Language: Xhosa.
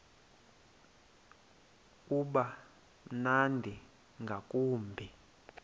uba mnandi ngakumbi